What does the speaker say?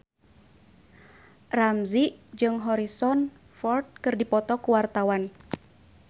Ramzy jeung Harrison Ford keur dipoto ku wartawan